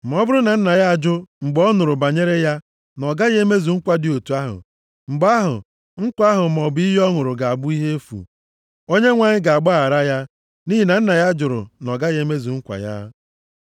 Ma ọ bụrụ na nna ya ajụ mgbe ọ nụrụ banyere ya na ọ gaghị emezu nkwa dị otu ahụ, mgbe ahụ, nkwa ahụ maọbụ iyi ọ ṅụrụ ga-abụ ihe efu. Onyenwe anyị ga-agbaghakwara ya, nʼihi na nna ya jụrụ na ọ ga-emezu nkwa ya.